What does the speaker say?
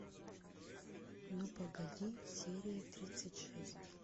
ну погоди серия тридцать шесть